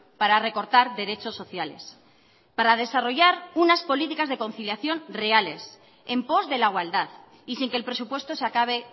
para recortar derechos sociales para desarrollar unas políticas de conciliación reales en pos de la igualdad y sin que el presupuesto se acabe